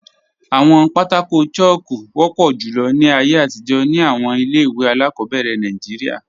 Awọn pátákò chalku wọpọ julọ ni ayé atijọ̀ ni awọn ilẹ̀-iwe aláàkọbẹ̀rẹ̀ Nàìjíríà.